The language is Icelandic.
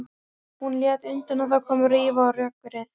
Hún lét undan og það kom rifa á rökkrið.